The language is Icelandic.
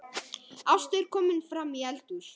Ásta er komin framí eldhús.